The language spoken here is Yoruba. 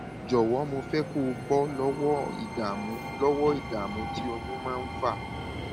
jọwọ mo fẹ kó o bọ lọwọ ìdààmú lọwọ ìdààmú tí oyún máa ń fà